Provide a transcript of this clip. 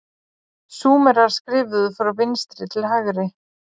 súmerar skrifuðu frá vinstri til hægri